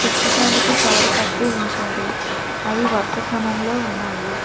పుస్తకానికి తాడు కట్టి ఉంచారు అవి వరుస క్రమంలో ఉన్నాయి.